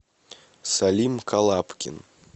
салим калабкин